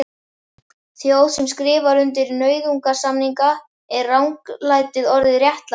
Þjóð sem skrifar undir nauðungarsamninga, er ranglætið orðið réttlæti?